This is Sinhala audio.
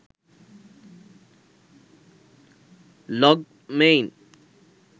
logmein